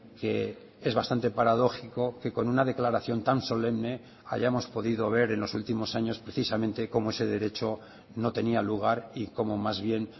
que es bastante paradójico que con una declaración tan solemne hayamos podido ver en los últimos años precisamente como ese derecho no tenía lugar y como más bien